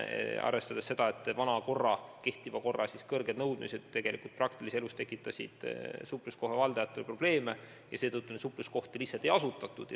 Senise korra kõrged nõudmised tekitasid praktilises elus supluskohtade valdajatele probleeme ja seetõttu neid supluskohti lihtsalt ei asutatud.